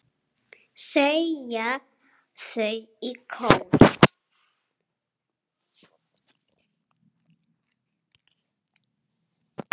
segja þau í kór.